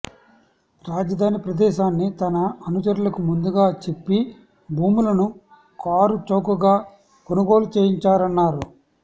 రాజధాని ప్రదేశాన్ని తన అనుచరులకు ముందుగా చెప్పి భూములను కారుచౌకగా కొనుగోలు చేయించారన్నారు